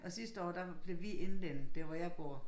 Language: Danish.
Og sidste år der blev vi indvendet der hvor jeg bor